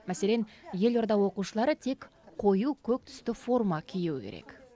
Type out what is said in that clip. мәселен елорда оқушылары тек қою көк түсті форма киюі керек